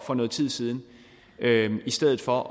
for noget tid siden i stedet for